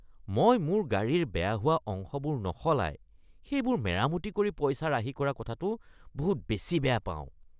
মই মোৰ গাড়ীৰ বেয়া হোৱা অংশবোৰ নসলাই সেইবোৰ মেৰামতি কৰি পইচা ৰাহি কৰা কথাটো বহুত বেছি বেয়া পাওঁ।